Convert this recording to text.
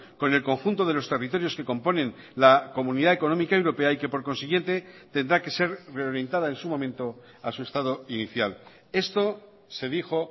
con el conjunto de los territorios que componen la comunidad económica europea y que por consiguiente tendrá que ser reorientada en su momento a su estado inicial esto se dijo